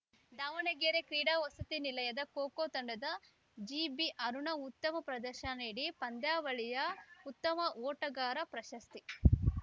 ದಾವಣಗೆರೆ ಕ್ರೀಡಾ ವಸತಿ ನಿಲಯದ ಖೋಖೋ ತಂಡದ ಜಿಬಿಅರುಣ ಉತ್ತಮ ಪ್ರದರ್ಶನ ನೀಡಿ ಪಂದ್ಯಾವಳಿಯ ಉತ್ತಮ ಓಟಗಾರ ಪ್ರಶಸ್ತಿ